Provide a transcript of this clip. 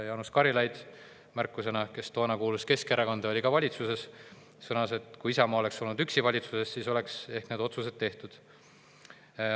Jaanus Karilaid – märkusena: Jaanus Karilaid kuulus toona Keskerakonda, kes oli ka valitsuses – sõnas, et kui Isamaa oleks olnud üksi valitsuses, siis olekski ehk need otsused tehtud.